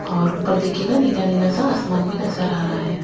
और ऊपर दिखिएगा नीला-नीला सा आसमान भी नज़र आ रहा है।